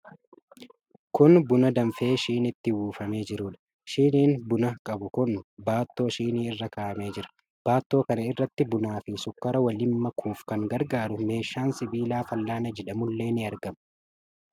Kun buna danfee shiniitti buufamee jiruudha. Shiniin buna qabu kun baattoo shinii irra kaa'amee jira. Baatto kana irratti bunaa fi sukkaara waliin makuuf kan gargaaru meeshaan sibiilaa fal'aana jedhamullee ni argama.